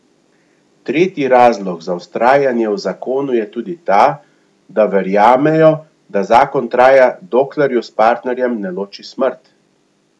Tretji razlog za vztrajanje v zakonu je tudi ta, da verjamejo, da zakon traja dokler ju s partnerjem ne loči smrt.